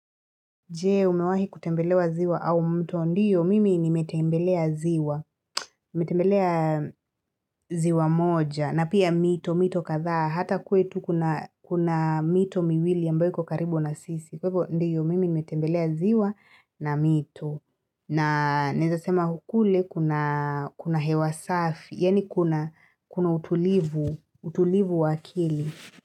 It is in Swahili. Je, umewahi kutembelewa ziwa au mto? Ndio, mimi nimetembelea ziwa. Nimetembelea ziwa moja, na pia mito, mito kadhaa. Hata kwetu kuna kuna mito miwili ambayo iko karibu na sisi. Kwa hivyo ndio, mimi nimetembelea ziwa na mito, na naweza sema kule kuna kuna hewa safi, yani kuna, kuna utulivu, utulivu wa akili.